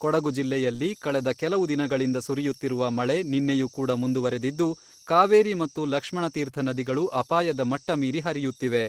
ಕೊಡಗು ಜಿಲ್ಲೆಯಲ್ಲಿ ಕಳೆದ ಕೆಲವು ದಿನಗಳಿಂದ ಸುರಿಯುತ್ತಿರುವ ಮಳೆ ನಿನ್ನೆಯೂ ಕೂಡ ಮುಂದುವರೆದಿದ್ದು, ಕಾವೇರಿ ಮತ್ತು ಲಕ್ಷ್ಮಣತೀರ್ಥ ನದಿಗಳು ಅಪಾಯದ ಮಟ್ಟ ಮೀರಿ ಹರಿಯುತ್ತಿವೆ.